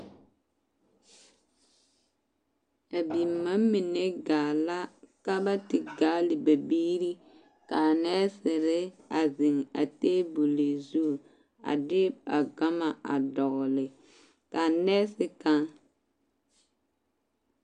A bima mine gaa la ka ba te gaale ba biiri k'a nɛɛsere a zeŋ a teebol zu a de a gama a dɔgele k'a nɛɛse kaŋ